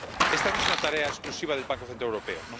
Esta no es una tarea exclusiva del Banco Central Europeo.